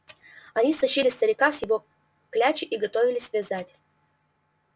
они стащили старика с его клячи и готовились вязать